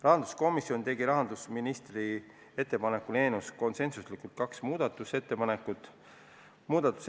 Rahanduskomisjon tegi rahandusministri ettepanekul eelnõu kohta konsensuslikult kaks muudatusettepanekut.